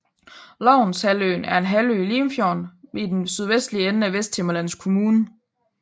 Lovns Halvøen er en halvø i Limfjorden i den sydvestlige ende af Vesthimmerlands Kommune